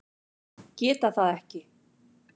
Geta það ekki.